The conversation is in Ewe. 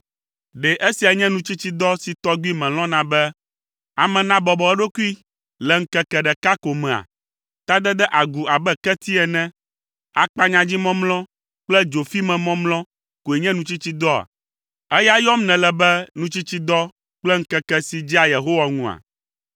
Ɖe esia nye nutsitsidɔ si tɔgbi melɔ̃na be ame nabɔbɔ eɖokui le ŋkeke ɖeka ko mea? Tadede agu abe keti ene, akpanyadzimɔmlɔ kple dzofimemɔmlɔ koe nye nutsitsidɔa? Eya yɔm nèle be nutsitsidɔ kple ŋkeke si dzea Yehowa ŋua?